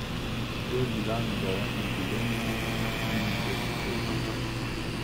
To je bila njegova jubilejna štirideseta zmaga.